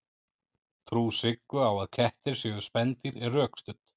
trú siggu á að kettir séu spendýr er rökstudd